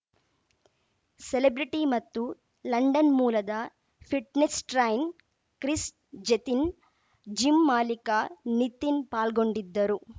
celebrity ಮತ್ತು London ಮೂಲದ fitness trainer Chris Gethin gym ಮಾಲೀಕ ನಿತಿನ್‌ ಪಾಲ್ಗೊಂಡಿದ್ದರು